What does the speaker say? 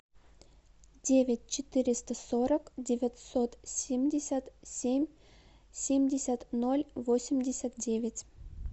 девять четыреста сорок девятьсот семьдесят семь семьдесят ноль восемьдесят девять